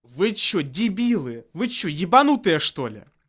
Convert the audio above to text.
вы что дебилы вы что ебанутые что ли